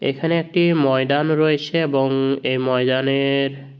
এখানে একটি ময়ডান রয়েছে এবং এই ময়দানের --